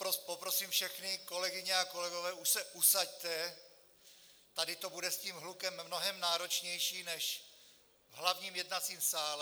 Poprosím všechny kolegyně a kolegy, už se usaďte, tady to bude s tím hlukem mnohem náročnější než v hlavním jednacím sále.